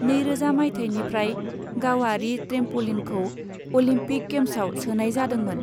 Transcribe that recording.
नैरोजा मायथाइनिफ्राय, गावारि ट्रेम्प'लिनखौ अलिम्पिक गेम्साव सोनाय जादोंमोन।